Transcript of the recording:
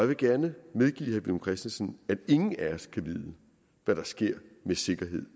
vil gerne medgive herre villum christensen at ingen af os kan vide med sikkerhed